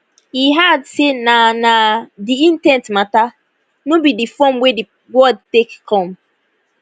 e add say na na di in ten t mata no be di form wey di word take come